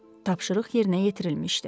Tapşırıq yerinə yetirilmişdi.